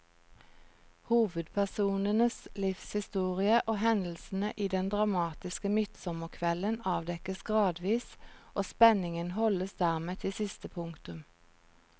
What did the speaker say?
Hovedpersonens livshistorie og hendelsene den dramatiske midtsommerkvelden avdekkes gradvis, og spenningen holdes dermed til siste punktum.